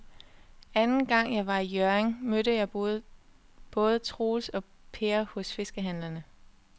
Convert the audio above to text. Anden gang jeg var i Hjørring, mødte jeg både Troels og Per hos fiskehandlerne.